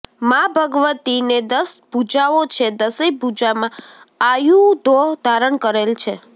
મા ભગવતીને દશ ભુજાઓ છે દશેય ભુજામા આયુધો ધારણ કરેલ છે